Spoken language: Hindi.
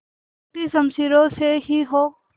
टूटी शमशीरों से ही हो